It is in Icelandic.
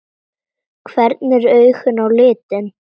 Hvernig eru augun á litinn?